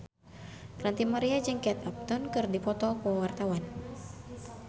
Ranty Maria jeung Kate Upton keur dipoto ku wartawan